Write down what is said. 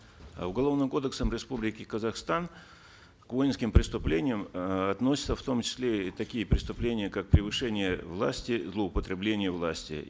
э уголовным кодексом республики казахстан к воинским преступлениям э относятся в том числе и такие преступления как превышение власти злоупотребление властью